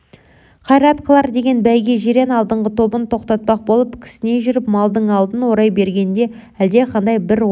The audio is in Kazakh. қайрат қылар деген бәйге жирен алдыңғы тобын тоқтатпақ болып кісіней жүріп малдың алдын орай бергенде әлдеқандай бір опқа